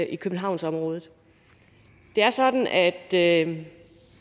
i københavnsområdet det er sådan at der er nogle